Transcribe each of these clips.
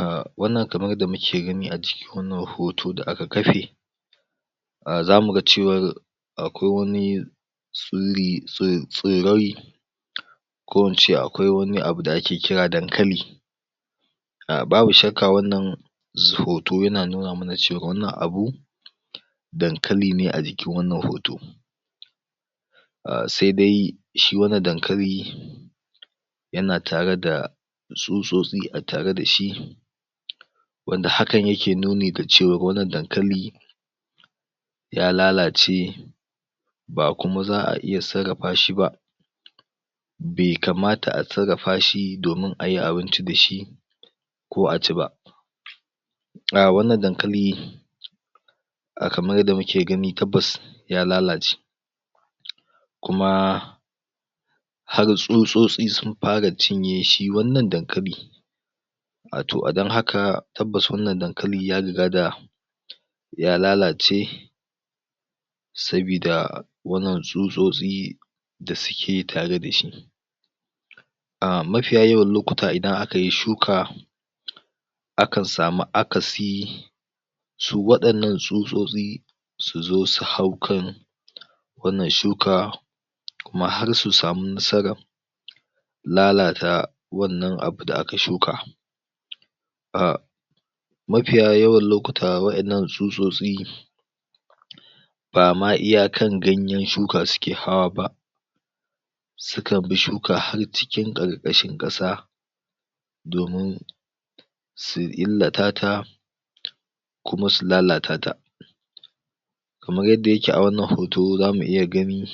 A wannan kamar yadda muke gani a cikin wanna hoto da aka kafe, a zamu ga cewar akwai wani tsilli, tsi.. tsirai ko ince akwa wani abu da ake kira dankali, a babu shakka wannan hoto yana nuna mana cewa wannan abu, dankali ne a jkinwannan hoto. Ahh sai dai shi wannan dankali, yana tare da tsutsosti a tare da shi wanda hakan yake nuni da cewar wannan dankali ya lalace ba kuma za'a iya sarrafa shi ba, be kamata a sarrafa shi domin ayi abinci da shi ko a ci ba. Ahh wannan dankali, a kamar yadda muke gani ya lalace, kuma har tsutsotsi sun fara cinye shi wannan dankali wato don haka tabbas wannan dankali ya riga da ya lalace, sabida wannan tsutsotsi, da suke tare da shi. A mafiya yawan lokuta idan aka yi shuka akan samu akasi su waɗannan tsutsotsi, su zo su hau kan wannan shuka kuma har su sami nasarar lalata wannan abu da aka shuka. Ahh mafiya yawan lokuta wa'yannan tsutsotsi ba iyakar ganyen shuka suke hawa ba sukan bi shuka har cikin ƙarƙashin ƙasa domin su illatata, kuma su lalatata. Kamar yadda yake a wannan hoto za mu iya gani,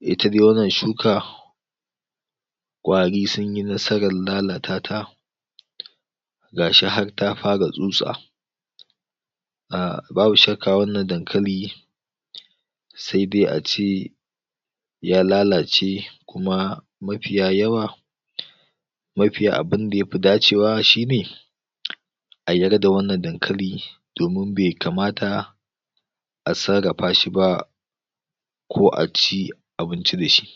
ita dai wannan shuka, ƙwari sun yi nasarar lalatata ga shi had ta fara tsutsa. Ahh babu shakka wannan dankali sai dai a ci ya lalace kuma mafiya yawa mafi abinda ya fi dacewa shine, a yar da wannan dankali domin bai kamata a sarrafa shi ba, ko a ci, abinci da shi.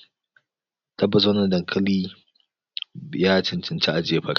Tabbas wannan dankali, ya cancanci a jefar.